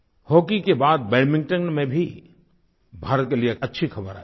hockey के बाद badminton में भी भारत के लिए अच्छी ख़बर आयी